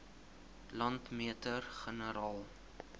landmeter generaal